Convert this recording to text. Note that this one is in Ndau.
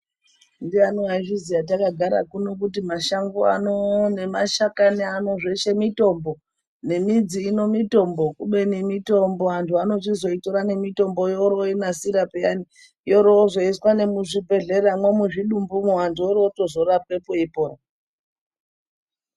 Ndiani waizviziya takagara kuno kuti mashango ano, nemashakani ano zveshe mitombo, Nemidzi ino mitombo, kubeni mitombo antu anochizoitora nemitomboyo yooro oyinansira pheyani, yooro yozoiswa nemuzvibhedhleramwo muzvidumbumo, vantu vooro votozorapwepo veipona